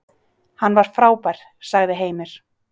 Hann var frábær, sagði Heimir.